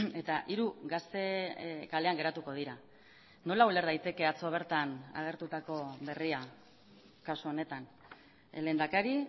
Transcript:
eta hiru gazte kalean geratuko dira nola uler daiteke atzo bertan agertutako berria kasu honetan el lehendakari